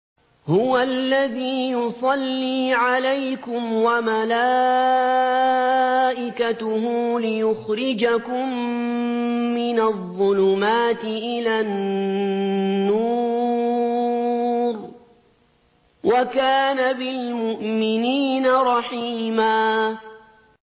هُوَ الَّذِي يُصَلِّي عَلَيْكُمْ وَمَلَائِكَتُهُ لِيُخْرِجَكُم مِّنَ الظُّلُمَاتِ إِلَى النُّورِ ۚ وَكَانَ بِالْمُؤْمِنِينَ رَحِيمًا